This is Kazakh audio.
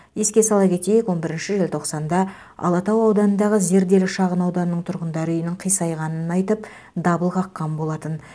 еске сала кетейік он бірінші желтоқсанда алатау ауданындағы зерделі шағынауданының тұрғындары үйінің қисайғанын айтып дабыл қаққан болатын